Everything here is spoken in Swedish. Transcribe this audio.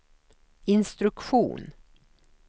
instruktion